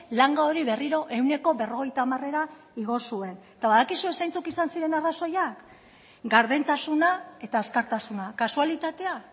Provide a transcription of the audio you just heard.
langa hori berriro ehuneko berrogeita hamarera igo zuen eta badakizue zeintzuk izan ziren arrazoiak gardentasuna eta azkartasuna kasualitatea